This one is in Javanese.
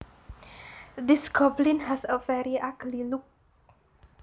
This goblin has a very ugly look